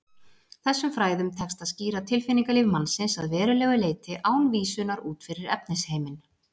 Þessum fræðum tekst að skýra tilfinningalíf mannsins að verulegu leyti án vísunar út fyrir efnisheiminn.